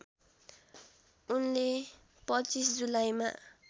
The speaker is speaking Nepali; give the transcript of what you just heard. उनले २५ जुलाईमा